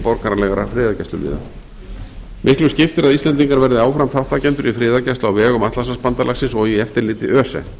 borgaralegra friðargæsluliða miklu skiptir að íslendingar verði áfram þátttakendur í friðargæslu á vegum atlantshafsbandalagsins og í eftirliti öse